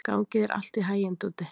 Gangi þér allt í haginn, Dúddi.